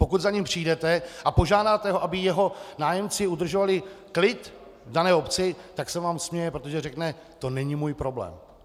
Pokud za ním přijdete a požádáte ho, aby jeho nájemci udržovali klid v dané obci, tak se vám směje, protože řekne: to není můj problém.